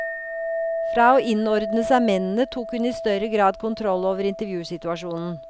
Fra å innordne seg mennene tok hun i større grad kontroll over intervjusituasjonen.